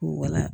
Wala